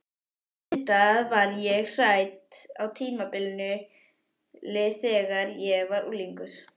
Auðvitað var ég hrædd á tímabili, þegar ég var unglingur.